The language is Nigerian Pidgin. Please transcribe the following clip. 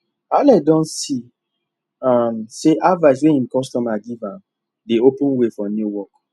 alex don see um say advice wey him customer give am dey open way for new work